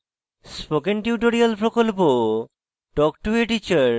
spoken tutorial প্রকল্প talk to a teacher প্রকল্পের অংশবিশেষ